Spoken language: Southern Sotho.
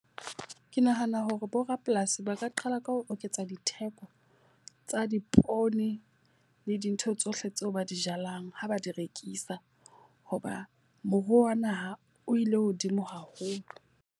Ke nahana hore bo rapolasi ba ka qala ka ho oketsa ditheko tsa dipoone le dintho tsohle tseo ba di jalang ha ba di rekisa. Hoba moruo wa naha o ile hodimo haholo.